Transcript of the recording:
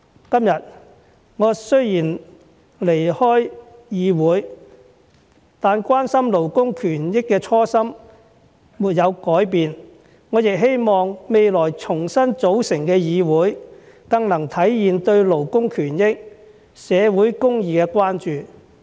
今天，我雖然離開議會，但關心勞工權益的初心沒有改變，我亦希望未來重新組成的議會，更能體現對勞工權益、社會公義的關注。